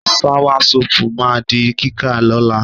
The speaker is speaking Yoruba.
Sawasọ́pù ma di kíká lọ́la.